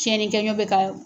Cɛnnikɛ ɲɔ bɛ ka